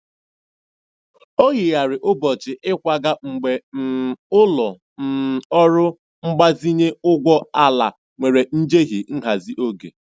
Ọ yigharịrị ụbọchị ịkwaga mgbe um ụlọ um ọrụ mgbazinye ụgbọ ala nwere njehie nhazi oge.